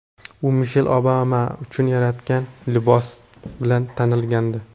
U Mishel Obama uchun yaratgan libosi bilan tanilgandi.